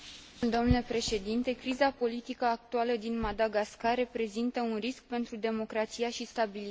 Criza politică actuală din Madagascar reprezintă un risc pentru democrația și stabilitatea din regiune.